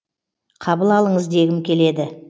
қабыл алыңыз дегім келеді